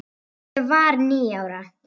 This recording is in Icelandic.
Ég var níu ára.